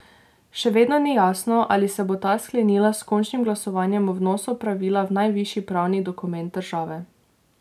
Še vedno ni jasno, ali se bo ta sklenila s končnim glasovanjem o vnosu pravila v najvišji pravni dokument države.